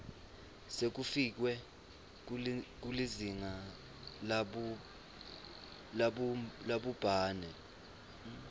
sekufikiwe kulizinga labhubhane